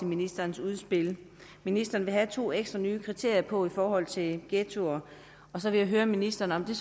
ministerens udspil ministeren vil have to ekstra nye kriterier på i forhold til ghettoer så vil jeg høre ministeren om det